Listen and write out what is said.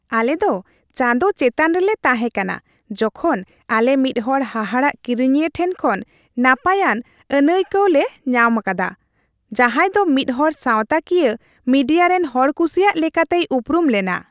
ᱟᱞᱮ ᱫᱚ ᱪᱟᱸᱫᱳ ᱪᱮᱛᱟᱱ ᱨᱮᱞᱮ ᱛᱟᱦᱮᱸ ᱠᱟᱱᱟ ᱡᱚᱠᱷᱚᱱ ᱟᱞᱮ ᱢᱤᱫᱦᱚᱲ ᱦᱟᱦᱟᱲᱟᱜ ᱠᱤᱨᱤᱧᱤᱭᱟᱹ ᱴᱷᱮᱱ ᱠᱷᱚᱱ ᱱᱟᱯᱟᱭᱟᱱ ᱟᱹᱱᱟᱹᱭᱠᱟᱹᱣ ᱞᱮ ᱧᱟᱢ ᱟᱠᱟᱫᱟ ᱡᱟᱸᱦᱟᱭ ᱫᱚ ᱢᱤᱫᱦᱚᱲ ᱥᱟᱶᱛᱟᱠᱤᱭᱟᱹ ᱢᱤᱰᱤᱭᱟ ᱨᱮᱱ ᱦᱚᱲᱠᱩᱥᱤᱭᱟᱜ ᱞᱮᱠᱟᱛᱮᱭ ᱩᱯᱨᱩᱢ ᱞᱮᱱᱟ ᱾